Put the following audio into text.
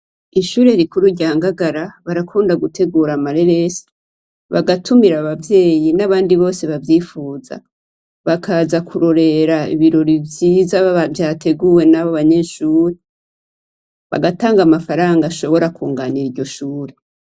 Ishure rikuru rya Ngagara barakunda gutegura amareresi bagatumira abavyeyi n'abandi bose bavyifuza, bakaza kurorera ibirori vyiza vyateguwe n'abo banyeshure, bagatanga amafaranga ashobora kunganira iryo shure.